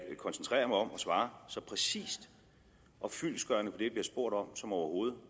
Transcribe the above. jeg koncentrerer mig om at svare så præcist og fyldestgørende bliver spurgt om som overhovedet